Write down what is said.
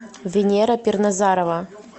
венера перназарова